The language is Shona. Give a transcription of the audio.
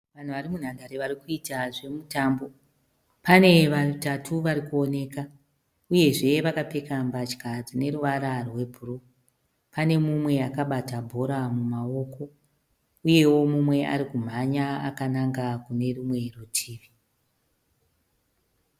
Vanhu vari munhandare vari kuita zvemutambo pane vatatu vari kuoneka uyezve vakapfeka mbatya dzine ruvara rwe bhuruu pane mumwe akabata bhora mumaoko uyewo mumwe arikumhanya akananga kune rumwe rutivi.